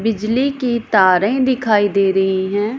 बिजली की तारे दिखाई दे रही हैं।